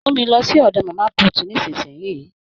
Mú mi lọ sí ọdọ màmá put nisinyi!